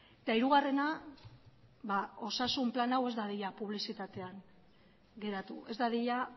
eta hirugarrena osasun plan hau ez dadila publizitatean geratu ez dadila